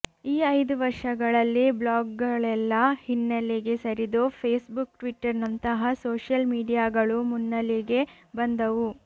ಈ ಐದು ವರ್ಷಗಳಲ್ಲಿ ಬ್ಲಾಗ್ಗಳೆಲ್ಲಾ ಹಿನ್ನೆಲೆಗೆ ಸರಿದು ಫೇಸ್ಬುಕ್ ಟಿಟ್ವರ್ನಂತಹ ಸೋಷಿಯಲ್ ಮಿಡಿಯಾಗಳು ಮುನ್ನೆಲೆಗೆ ಬಂದವು